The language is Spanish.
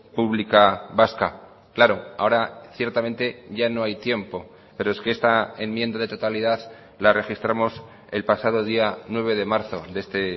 pública vasca claro ahora ciertamente ya no hay tiempo pero es que esta enmienda de totalidad la registramos el pasado día nueve de marzo de este